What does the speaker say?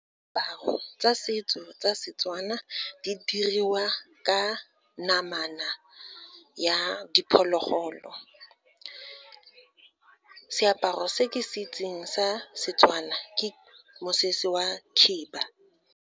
Diaparo tsa setso tsa seTswana, di diriwa ka namana ya diphologolo. Seaparo se ke se itseng sa seTswana ke mosese wa khiba.